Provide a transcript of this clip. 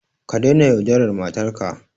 Ka daina yaudarar matarka.